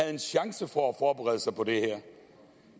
en chance for at forberede sig på det her